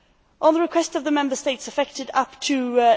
At the request of the Member States affected, up to